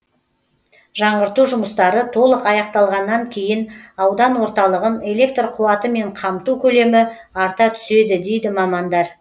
жаңғырту жұмыстары толық аяқталғаннан кейін аудан орталығын электр қуатымен қамту көлемі арта түседі дейді мамандар